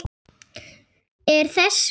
Er þess von?